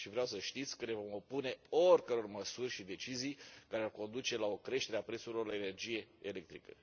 Vreau să știți că ne vom opune oricăror măsuri și decizii care ar conduce la o creștere a prețurilor la energie electrică.